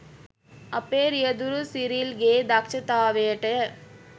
අපේ රියැදුරු සිරිල් ගේ දක්ෂතාවයටය.